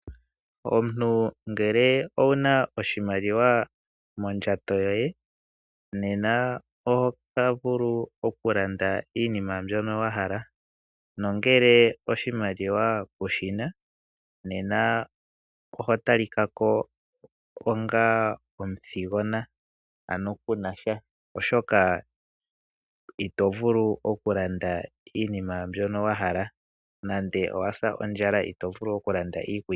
Omuntu ngele owuna oshimaliwa mondjato yoye nena oto vulu okulanda iinima mbyoka wahala nuuna kunasha iimaaliwa nena ohobmonika ko wafa omuthigona oshoka ito vulau okuland shoka wahala nande owasa ondjala ito vulu okulanda iikulya.